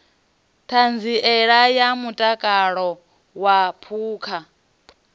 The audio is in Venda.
ṱhanziela ya mutakalo wa phukha